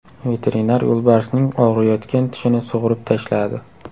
Veterinar yo‘lbarsning og‘riyotgan tishini sug‘urib tashladi.